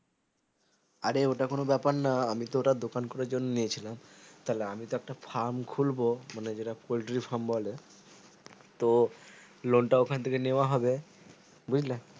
আরে ওটা কোনো ব্যাপার না আমি তো ওটা দুকান খুলার জন্য নিয়েছিলাম তাহলে আমি একটা farm খুলবো মানে যেটা poultry farm বলে তো loan তা ওটা থেকে নেয়া হবে বুছলা